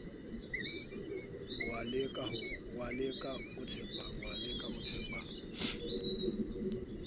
oo le ka o tshepang